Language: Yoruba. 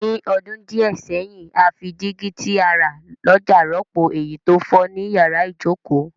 Ní odún díẹ̀ sẹ́hìn, a fi dígí ti a rà lójà rọ́pò èyí to fo ni yàrá ìjoko